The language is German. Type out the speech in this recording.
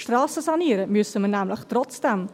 Strassen sanieren müssen wir nämlich trotzdem.